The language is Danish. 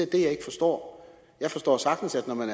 det jeg ikke forstår jeg forstår sagtens at når man